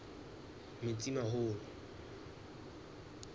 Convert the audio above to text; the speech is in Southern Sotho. metsimaholo